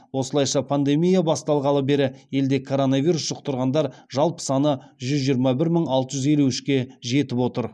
осылайша пандемия басталғалы бері елде коронавирус жұқтырғандар жалпы саны жүз жиырма бір мың алты жүз елу үшке жетіп отыр